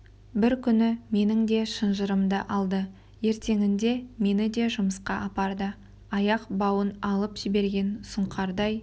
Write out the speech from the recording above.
бір күні менің де шынжырымды алды ертеңінде мені де жұмысқа апарды аяқ бауын алып жіберген сұңқардай